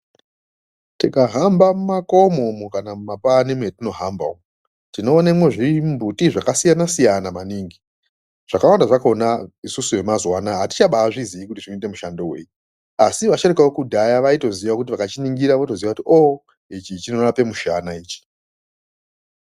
Tikahamba mumakomo kana mumapani mwatinohamba umwu ,tinoonemwo zvimumbuti zvakasiyana siyana maningi .Zvakawanda zvakona isusu vemazuva ano atichazivi kuti zvinoshandei, asi vasharukwa vekudhaya vanotoziye kuti ichi chinorape mushana ichi.